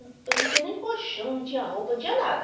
Eu não tinha nem colchão, não tinha roupa, não tinha nada.